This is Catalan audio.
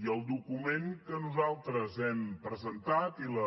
i el document que nosaltres hem presentat i la